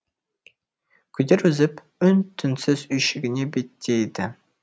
күдер үзіп үн түнсіз үйшігіне беттейді